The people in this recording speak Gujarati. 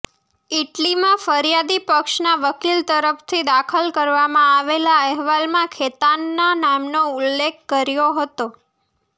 ઇટલીમાં ફરિયાદી પક્ષના વકીલ તરફથી દાખલ કરવામાં આવેલા અહેવાલમાં ખેતાનના નામનો ઉલ્લેખ કર્યો હતો